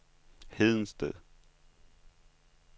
Hedensted